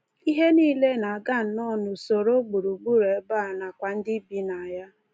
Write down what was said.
Ihe nile na-aga nnọọ n’usoro — gburugburu ebe a nakwa ndị bi na ya.